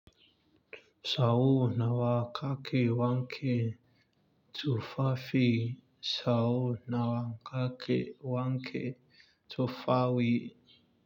Sau nawa kake wanke tufafi sau nawa kake wanke tufawi?